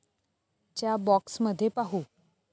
च्या बॉक्समध्ये पाहू